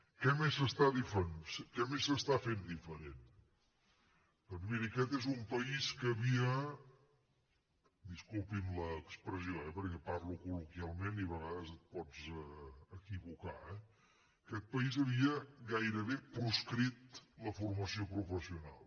què més s’està fent diferent doncs miri aquest és un país que havia disculpin l’expressió eh perquè parlo col·loquialment i a vegades et pots equivocar gairebé proscrit la formació professional